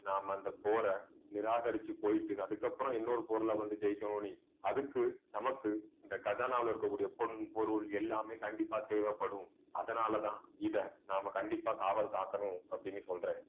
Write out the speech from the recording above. நாம அந்த போரை நிராகரிச்சு போயிட்டு அதுக்கப்புறம் இன்னொரு பொருளை வந்து ஜெயிக்கணும் நீ அதுக்கு நமக்கு இந்த கஜானால இருக்கக்கூடிய பொன் பொருள் எல்லாமே கண்டிப்பா தேவைப்படும். அதனாலதான் இதை நாம கண்டிப்பா காவல் காக்கணும் அப்பிடின்னு சொல்றேன்